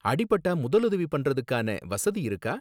அடி பட்டா முதலுதவி பண்றதுக்கான வசதி இருக்கா?